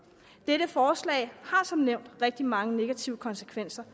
dette forslag har som nævnt rigtig mange negative konsekvenser